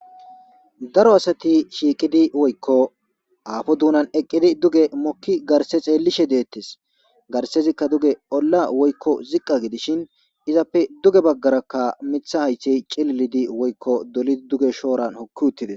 Daro asati shiiqidi woykko aafo duunan eqqidi duge mokki garse xeellishe deettes garsezikka duge olla woykko ziqqa gidishin izappe duge baggarakka mitha haytey cililidi woykko dolidi duge shooran hokki uttides